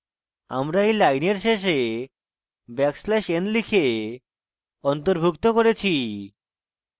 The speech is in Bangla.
আমরা we লাইনের শেষে ব্যাকস্ল্যাশ n লিখে অন্তর্ভুক্ত করেছি